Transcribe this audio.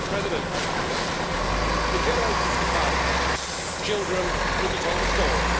Mr President, in generations to come, children will be told a story.